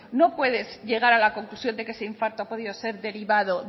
no puedes llegar a la conclusión de que ese infarto ha podido ser derivado